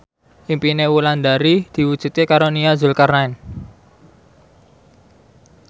impine Wulandari diwujudke karo Nia Zulkarnaen